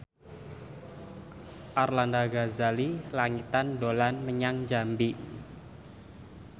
Arlanda Ghazali Langitan dolan menyang Jambi